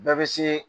Bɛɛ bɛ se